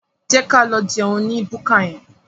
Jẹ́ ka lọ jẹun ní búkà yẹn.